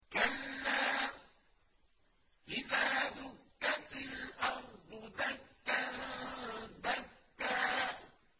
كَلَّا إِذَا دُكَّتِ الْأَرْضُ دَكًّا دَكًّا